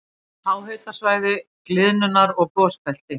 Háhitasvæði- gliðnunar- og gosbelti